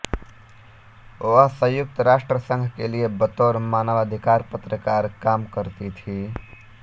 वह संयुक्त राष्ट्र संघ के लिए बतौर मानवाधिकार पत्रकार काम करती थीं